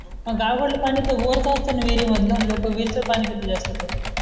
आवडला पाणी वरच असत न विरिमधल न लोक विहिरीचं पाणी जास्त पण तर